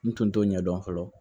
N tun t'o ɲɛdɔn fɔlɔ